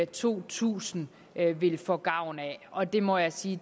to tusind vil få gavn af og det må jeg sige